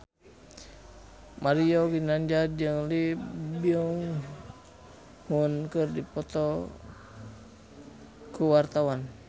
Mario Ginanjar jeung Lee Byung Hun keur dipoto ku wartawan